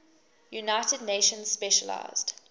united nations specialized